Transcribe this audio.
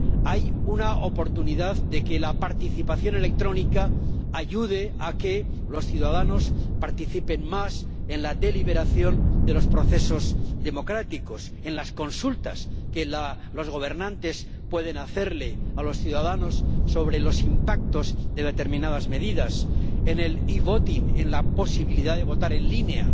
Hay una oportunidad de que la participación electrónica ayude a que los ciudadanos participen más en la deliberación de los procesos democráticos, en las consultas que los gobernantes pueden hacerles a los ciudadanos sobre los impactos de determinadas medidas, en el e-voting —la posibilidad de votar en línea—,